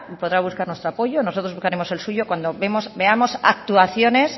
podrá buscar nuestro apoyo nosotros buscaremos el suyo cuando veamos actuaciones